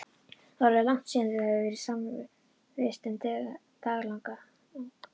Það var orðið langt síðan þau höfðu verið samvistum daglangt.